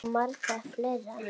Og margt fleira.